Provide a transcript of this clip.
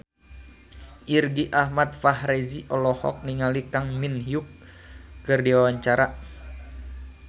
Irgi Ahmad Fahrezi olohok ningali Kang Min Hyuk keur diwawancara